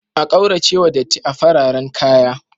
A kauracewa datti a fararan kaya.